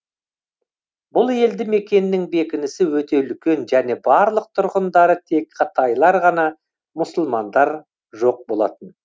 бұл елді мекеннің бекінісі өте үлкен және барлық тұрғындары тек қытайлар ғана мұсылмандар жоқ болатын